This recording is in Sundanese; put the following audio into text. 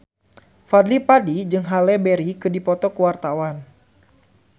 Fadly Padi jeung Halle Berry keur dipoto ku wartawan